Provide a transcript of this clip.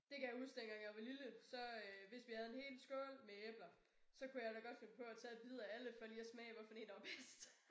Det kan jeg huske dengang jeg var lille så øh hvis vi havde en hel skål med æbler så kunne jeg da godt finde på at tage bid af alle for lige at smage hvad for en der var bedst